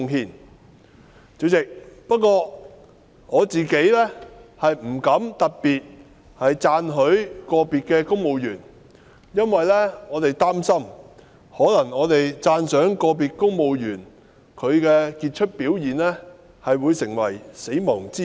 代理主席，不過，我自己不敢特別讚許個別公務員，因為我們擔心讚賞個別公務員的傑出表現，可能會成為"死亡之吻"。